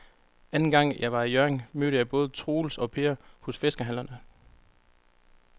Anden gang jeg var i Hjørring, mødte jeg både Troels og Per hos fiskehandlerne.